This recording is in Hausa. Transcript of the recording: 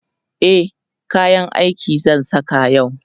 e kayan aiki zan Saka yau